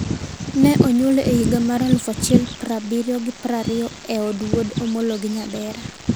Ne onyuole e higa mar 1720 e od Wuod Omolo gi Nyabera.